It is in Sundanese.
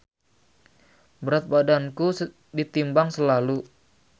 Berat badanku ditimbang slalu.